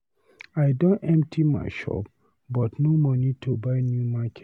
I don empty my shop but no money to buy new market